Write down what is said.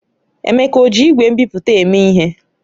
Emeka ọ ji igwe nbipute eme ihe?